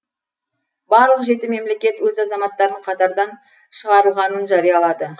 барлық жеті мемлекет өз азаматтарын катардан шығарылғанын жариялады